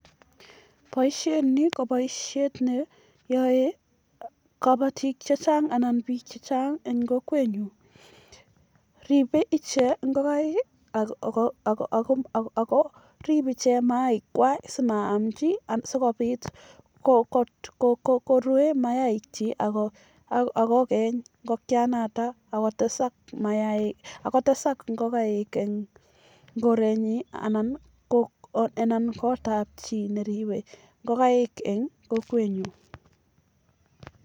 poisheet ni kopaisheet neaee pik eng kokwet nyun ako ae piik amun rueeen ingokaik akotesak ichegen